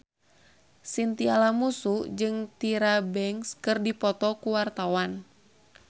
Chintya Lamusu jeung Tyra Banks keur dipoto ku wartawan